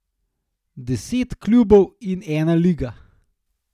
Deset klubov in ena liga.